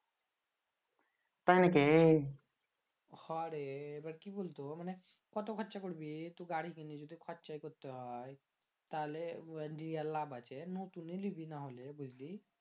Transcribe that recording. তাই নিকি হ রে এবার কি বল তো মানে কত খরচা করবি তু গাড়ি কিনে যদি খরচাই করতে হয় তাহলে লাভ আছে লতুন এ লিবি নাহলে বুঝলি